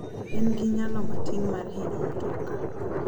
En gi nyalo matin mar hinyo mtoka.